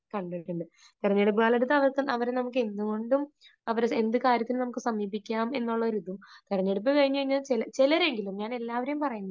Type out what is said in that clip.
കണ്ടിട്ടുണ്ട്. തെരഞ്ഞെടുപ്പുകാലത്ത് അവർ നമുക്ക് എന്തുകൊണ്ടും അവരെ എന്ത് കാര്യത്തിനും നമുക്ക് സമീപിക്കാം എന്നുള്ള ഒരു ഇത്. തിരഞ്ഞെടുപ്പ് കഴിഞ്ഞു കഴിഞ്ഞാൽ ചിലരെങ്കിലും, ഞാൻ എല്ലാവരെയും പറയുന്നില്ല